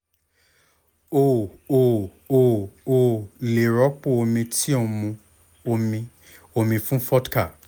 o ò o ò lè rọ́pò omi tí ń mu omi omi fún vodka